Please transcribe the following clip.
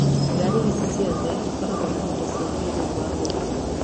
Ngaari ici ciothe ikoragwo na indo cia kĩĩrĩu wagũra